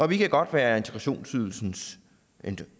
vi kan godt være integrationsydelsens